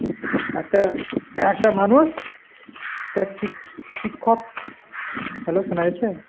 একটা, একটা মানুষ তার শিক্ষ~ শিক্ষক hello শোনা যাচ্ছে ?